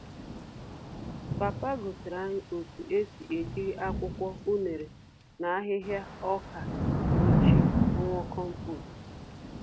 Papa gosiri anyị otú esi ejiri akwụkwọ unere na ahịhịa ọkà ochie, rụọ kompost